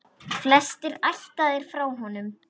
Flestir ættaðir frá honum.